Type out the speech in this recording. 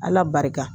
Ala barika